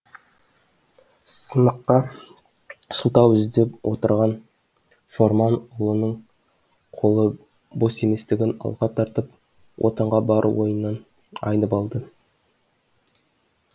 сыныққа сылтау іздеп отырған шорман ұлының қолы бос еместігін алға тартып отынға бару ойынан айнып алды